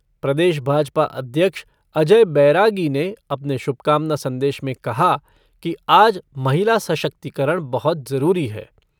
प्रदेश भाजपा अध्यक्ष अजय बैरागी ने अपने शुभकामना संदेश में कहा कि आज महिला सशक्तिकरण बहुत जरूरी है।